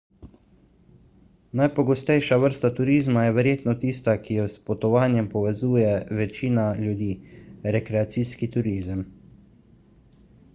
najpogostejša vrsta turizma je verjetno tista ki jo s potovanjem povezuje večina ljudi rekreacijski turizem